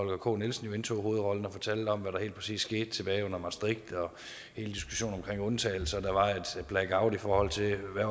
k nielsen jo indtog hovedrollen og fortalte om hvad der helt præcis skete tilbage under maastricht og undtagelser der var et blackout i forhold til hvad